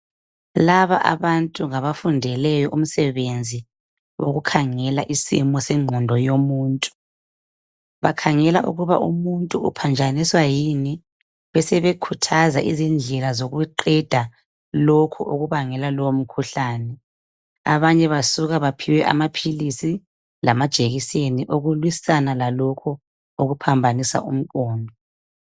Laba abantu ngabafundele umsebenzi wokukhangela isimo sengqondo yomuntu. Bakhangela ukuba umuntu uphanjaniswa yini besebekhuthaza indlela zokuqeda lokhu okubangela lowo mkhuhlane. Abanye basuka baphiwe amaphilisi lama jekiseni okulwisana lalokhu okuphambanisa umqondo.